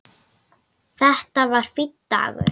Þetta var fínn dagur.